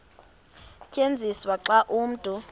tyenziswa xa umntu